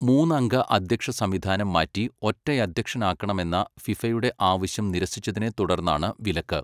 മൂന്നംഗ അദ്ധ്യക്ഷസംവിധാനം മാറ്റി ഒറ്റയധ്യക്ഷനാക്കണമെന്ന ഫിഫയുടെ ആവശ്യം നിരസിച്ചതിനെ തുടർന്നാണ് വിലക്ക്.